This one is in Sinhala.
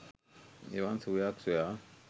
එවන් සුවයක් සොයා